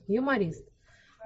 юморист